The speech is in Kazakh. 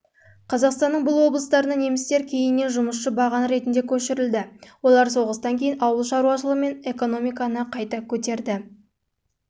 қазақстанның бұл облыстарына немістер кейіннен жұмысшы баған ретінде көшірілді олар соғыстан кейін ауыл шаруашылығы мен экономиканы қайта